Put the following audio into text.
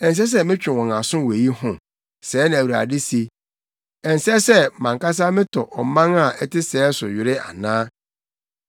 Ɛnsɛ sɛ metwe wɔn aso wɔ eyi ho?” Sɛɛ na Awurade se. “Ɛnsɛ sɛ, mʼankasa metɔ ɔman a ɛte sɛɛ so were ana?